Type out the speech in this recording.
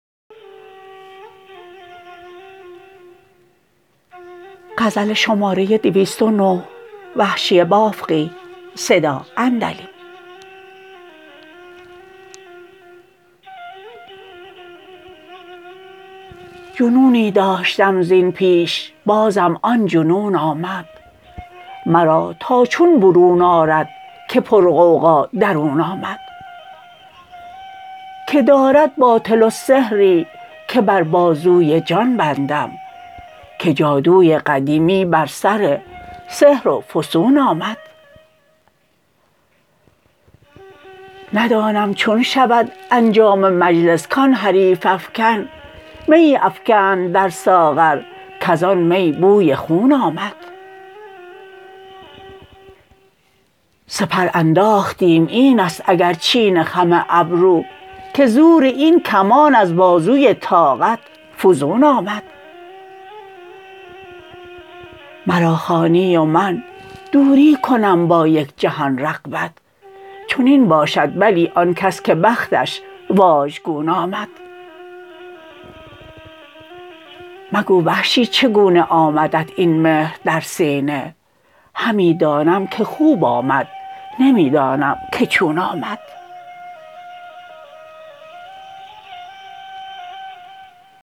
جنونی داشتم زین پیش بازم آن جنون آمد مرا تا چون برون آرد که پر غوغا درون آمد که دارد باطل السحری که بر بازوی جان بندم که جادوی قدیمی بر سر سحر و فسون آمد ندانم چون شود انجام مجلس کان حریف افکن میی افکند در ساغر کزان می بوی خون آمد سپر انداختیم اینست اگر چین خم ابرو که زور این کمان از بازوی طاقت فزون آمد مرا خوانی و من دوری کنم با یک جهان رغبت چنین باشد بلی آن کس که بختش واژگون آمد مگو وحشی چگونه آمدت این مهر در سینه همی دانم که خوب آمد نمی دانم که چون آمد